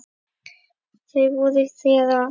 Þau voru þér allt.